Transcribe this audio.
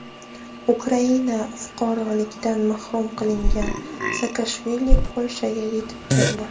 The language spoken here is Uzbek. Ukraina fuqaroligidan mahrum qilingan Saakashvili Polshaga yetib keldi.